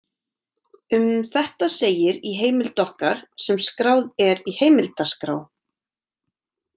Um þetta segir í heimild okkar sem skráð er í heimildaskrá: